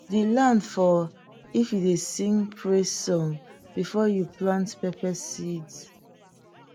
de land for if you dey sing praise song before you plant pepper seeds